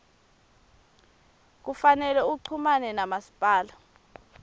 kufanele uchumane namasipala